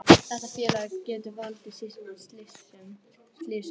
Þetta félag getur valdið slysum,